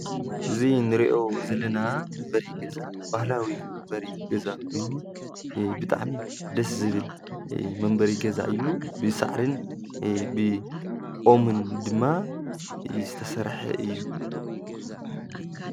እዙይ ንርእዮ ዘለና መንበሪ ገዛ ባህላዊ መንበሪ ገዛ ወኑ ብጣዕሚ ደስ ዝብል መንበሪ ገዛ እዩ ብሣዕሪን ብኦምን ድማ ዝተሠርሐ እዩ።